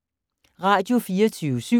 Radio24syv